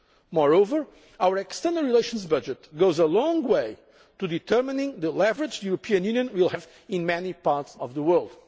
death. Moreover, our external relations budget goes a long way to determining the leverage the European Union will have in many parts of the